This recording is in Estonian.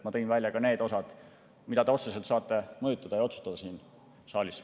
Ma tõin välja ka need osad, mida te otseselt saate mõjutada ja otsustada siin saalis.